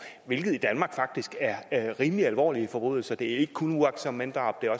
hvilket i danmark faktisk er er rimelig alvorlige forbrydelser det er ikke kun uagtsomt manddrab det